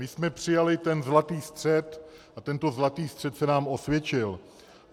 My jsme přijali ten zlatý střed a tento zlatý střed se nám osvědčil.